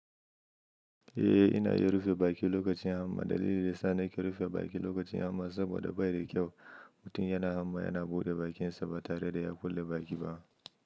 Eh, ina iya rufe baki lokacin hamma. Dalilin da yasa nake rufe baki lokacin hamma saboda bai da kyau. Mutum yana hamma yana buɗe bakinsa ba tare da ya kulle baki ba.